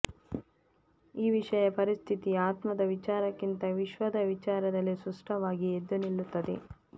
ಈ ವಿಷಯ ಪರಿಸ್ಥಿತಿ ಆತ್ಮದ ವಿಚಾರಕ್ಕಿಂತ ವಿಶ್ವದ ವಿಚಾರದಲ್ಲಿ ಸ್ಪಷ್ಟವಾಗಿ ಎದ್ದುನಿಲ್ಲುತ್ತದೆ